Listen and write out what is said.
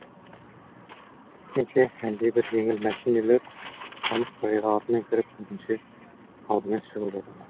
сөйткенше әлдебір жеңіл мәшинелер қамыс сарайға артымен кіріп ізінше алдымен шығып жатады